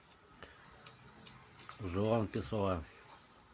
жуан песоа